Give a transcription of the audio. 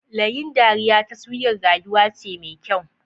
Layin dariya taswirar rayuwa ce mai kyau.